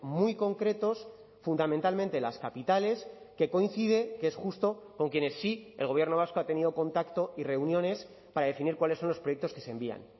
muy concretos fundamentalmente las capitales que coincide que es justo con quienes sí el gobierno vasco ha tenido contacto y reuniones para definir cuáles son los proyectos que se envían